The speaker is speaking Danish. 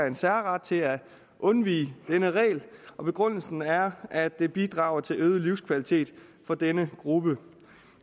en særret til at undvige denne regel og begrundelsen er at det bidrager til øget livskvalitet for denne gruppe